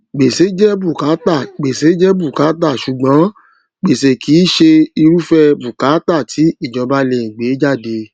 gbèsè jẹ bùkátà gbèsè jẹ bùkátà ṣùgbón gbèsè kì í ṣe irúfẹ bùkátà ti ìjọba lè gbé jáde